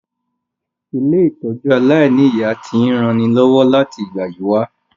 Ilé-ìtójú aláìniya ti n ranilọ́wọ́ láti ìgbà yi wa